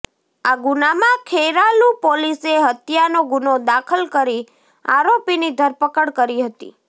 આ ગુનામાં ખેરાલુ પોલીસે હત્યાનો ગુનો દાખલ કરી આરોપીની ધરપકડ કરી હતી